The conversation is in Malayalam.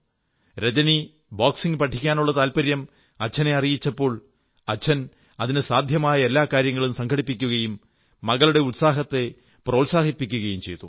രജനി ബോക്സിംഗ് പഠിക്കാനള്ള താത്പര്യം അച്ഛനെ അറിയിച്ചപ്പോൾ അച്ഛൻ അതിനു സാധ്യമായ എല്ലാ കാര്യങ്ങളും സംഘടിപ്പിക്കുകയും മകളുടെ ഉത്സാഹത്തെ പ്രോത്സാഹിപ്പിക്കുകയും ചെയ്തു